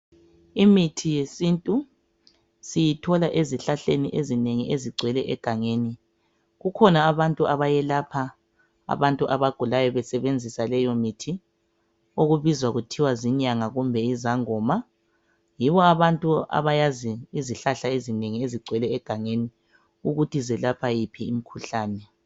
imthi yesintu siyithola ezihlahleni ezinengi ezigcwele egangeni kukhona abantu abayelapha abantu abagulayo besebenzisa leyo mithiokubizwa kuthiwa zinyanga kumbe yizangoma yibo abantu abayazi izihlahla ezinengi ezigcwele egangeni ukuthi zelapha iphi imikhuhlane